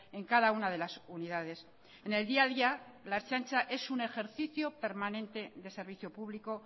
en cada una de las unidades en el día a día la ertzaintza es un ejercicio permanente de servicio público